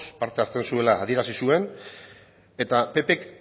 parte hartzen zuela adierazi zuen eta ppk